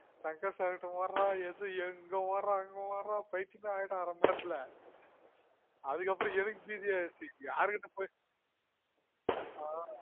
Shankar sir கிட்ட ஒட்றான் இங்க ஒட்றான் பைத்தியெமே ஆய்டன் அரைமணி நேரத்துல அதுகப்புரம் எனக்கு பீதி ஆய்டுசு யார்கிட்ட போய்